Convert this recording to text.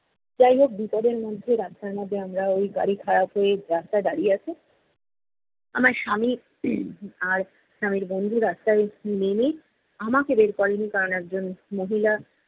যাই হোক বিপদের মধ্যে, রাস্তার মধ্যে আমরা ঐ গাড়ি খারাপ হয়ে রাস্তায় দাঁড়িয়ে আছে। আমার স্বামী আর স্বামীর বন্ধু রাস্তায় নেমে, আমাকে বের করেনি কারণ একজন মহিলা